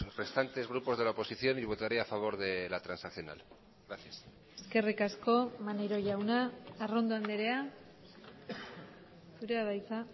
restantes grupos de la oposición y votaré a favor de la transaccional gracias eskerrik asko maneiro jauna arrondo andrea zurea da hitza